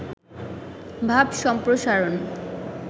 ভাব সম্প্রসারণ